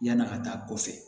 Yan'a ka taa kɔfɛ